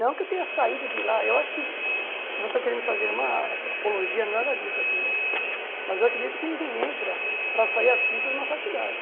Não que eu tenha saído de lá, eu acho que, não estou querendo fazer uma apologia, nada disso aqui, né mas eu acredito que ninguém entra para sair artista de uma faculdade.